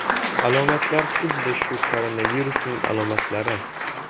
Alomatlar xuddi shu koronavirusning alomatlari.